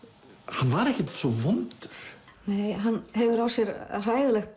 hann var ekkert svo vondur nei hann hefur á sér hræðilegt